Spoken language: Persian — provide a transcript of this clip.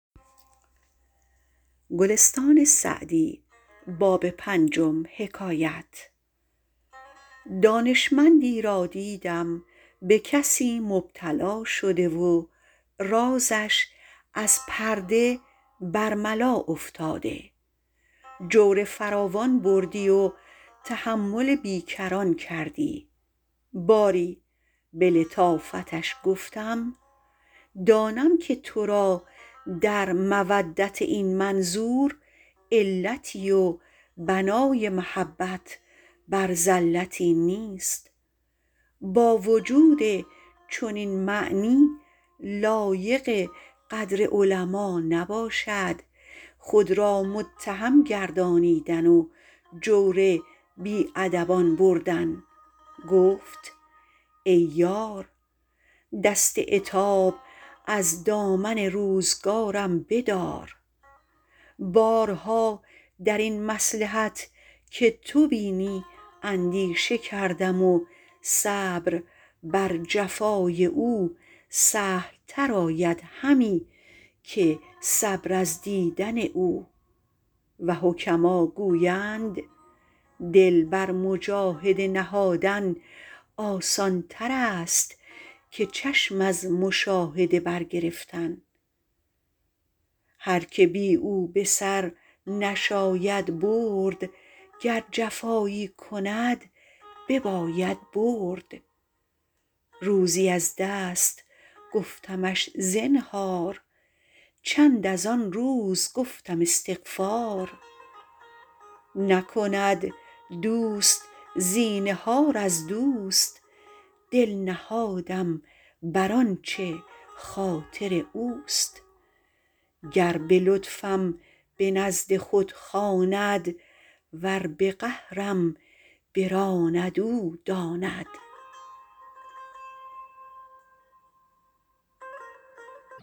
دانشمندی را دیدم به کسی مبتلا شده و رازش بر ملا افتاده جور فراوان بردی و تحمل بی کران کردی باری به لطافتش گفتم دانم که تو را در مودت این منظور علتی و بنای محبت بر زلتی نیست با وجود چنین معنی لایق قدر علما نباشد خود را متهم گردانیدن و جور بی ادبان بردن گفت ای یار دست عتاب از دامن روزگارم بدار بارها در این مصلحت که تو بینی اندیشه کردم و صبر بر جفای او سهل تر آید همی که صبر از دیدن او و حکما گویند دل بر مجاهده نهادن آسان تر است که چشم از مشاهده بر گرفتن هر که بی او به سر نشاید برد گر جفایی کند بباید برد روزی از دست گفتمش زنهار چند از آن روز گفتم استغفار نکند دوست زینهار از دوست دل نهادم بر آنچه خاطر اوست گر به لطفم به نزد خود خواند ور به قهرم براند او داند